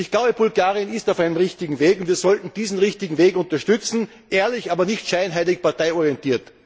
Ich glaube, Bulgarien ist auf einem richtigen Weg, und wir sollten diesen richtigen Weg unterstützen ehrlich, aber nicht scheinheilig parteiorientiert.